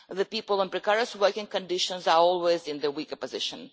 People in precarious working conditions are always in the weaker position.